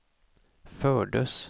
fördes